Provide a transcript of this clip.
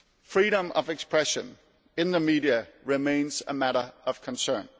Freedom of expression in the media remains a matter of concern.